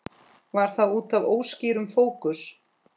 Var það útaf óskýrum fókus?